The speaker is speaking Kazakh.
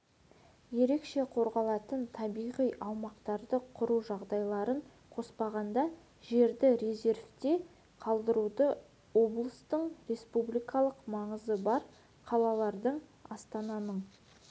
ерекше қорғалатын табиғи аумақтарды құру жағдайларын қоспағанда жерді резервте қалдыруды облыстардың республикалық маңызы бар қалалардың астананың